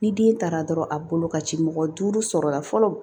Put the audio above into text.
Ni den taara dɔrɔn a bolo ka ci mɔgɔ duuru sɔrɔla fɔlɔ